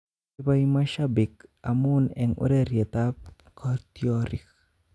Poipoi mashabik amun en ureryetap kotyorik